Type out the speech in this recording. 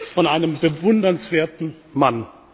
Worte von einem bewundernswerten Mann.